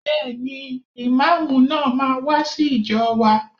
Bẹ́ẹ̀ni, Ìmáàmù náà máa wá sí ìjọ wa.